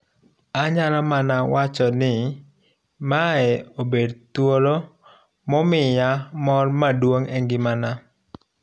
Anyalo mana wacho ni mae obet thuolo momiya mor maduong' engimana,